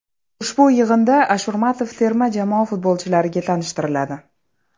Ushbu yig‘inda Ashurmatov terma jamoa futbolchilariga tanishtiriladi.